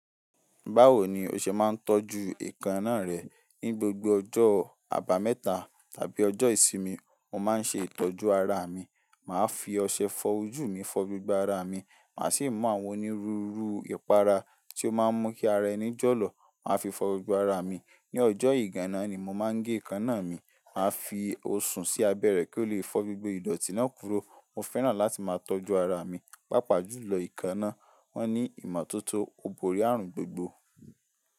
Báwo ni o ṣe máa ń tọ́jú èékánná rẹ? Ní gbogbo ọjọ́ abameta tàbí ọjọ́ ìsinmi, mo máa ń ṣe ìtọ́jú ara mi. Máa fi ọṣẹ fọ ojú mi fọ gbogbo ara mi, màá sì mú àwọn onírúurú ìpara tí ó máa ń mú kí ara ẹni jọ́lọ̀, màá fi fọ gbogbo ara mi. Ni ọjọ́ ìgana ni mo máa ń gé èékánná mi. Màá fi òsùn sí abẹ́rẹ́ kí ó lè fọ gbogbo ìdọ̀tí náà kúrò. Mo fẹ́ràn láti máa tọ́jú ara mi, pàápàá jùlọ èékánná. Wọ́n ní ìmọ́tótó, ó borí ààrùn gbogbo.